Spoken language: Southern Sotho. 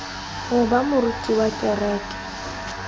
ho ba moruti wa kereke